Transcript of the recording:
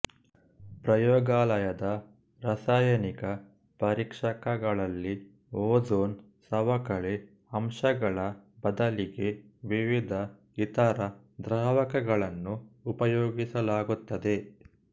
ಪ್ರಯೋಗಾಲಯದ ರಾಸಾಯನಿಕ ಪರೀಕ್ಷಕಗಳಲ್ಲಿ ಓಝೋನ್ ಸವಕಳಿ ಅಂಶಗಳ ಬದಲಿಗೆ ವಿವಿಧ ಇತರ ದ್ರಾವಕಗಳನ್ನು ಉಪಯೋಗಿಸಲಾಗುತ್ತದೆ